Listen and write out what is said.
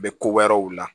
U bɛ ko wɛrɛw la